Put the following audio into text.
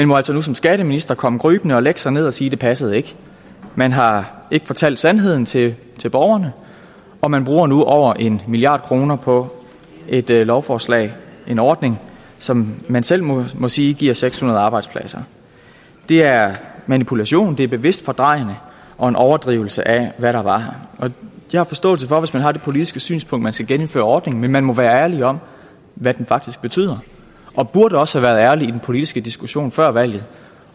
må altså nu som skatteminister komme krybende og lægge sig ned og sige det passede man har ikke fortalt sandheden til borgerne og man bruger nu over en milliard kroner på et lovforslag en ordning som man selv må må sige giver seks hundrede arbejdspladser det er manipulation det er bevidst fordrejende og en overdrivelse af hvad der var jeg har forståelse for hvis man har det politiske synspunkt at man skal genindføre ordningen men man må være ærlig om hvad den faktisk betyder og burde også have været ærlig i den politiske diskussion før valget